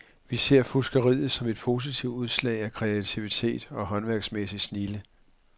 Vi ser fuskeriet som et positivt udslag af kreativitet og håndværksmæssig snilde.